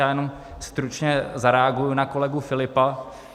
Já jenom stručně zareaguji na kolegu Filipa.